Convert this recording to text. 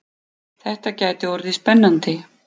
Þetta gæti orðið spennandi!